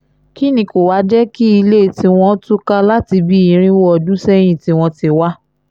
kín ni kó wàá jẹ́ kí ilé tiwọn túká láti bíi irínwó ọdún sẹ́yìn tí wọ́n ti wá